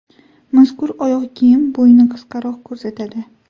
Mazkur oyoq kiyim bo‘yni qisqaroq ko‘rsatadi.